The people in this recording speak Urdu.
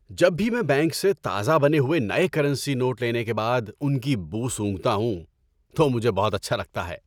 جب بھی میں بینک سے تازہ بنے ہوئے نئے کرنسی نوٹ لینے کے بعد ان کی بو سونگھتا ہوں تو مجھے بہت اچھا لگتا ہے۔